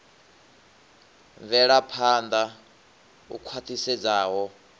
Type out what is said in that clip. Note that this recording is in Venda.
wa mvelaphan ḓa u khwaṱhisedzaho